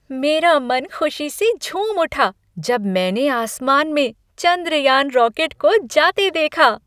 मेरा मन खुशी से झूम उठा जब मैंने आसमान में चंद्रयान रॉकेट को जाते देखा।